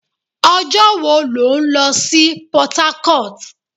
Ọjọ́ wo lò ń lọ sí Port-harcourt?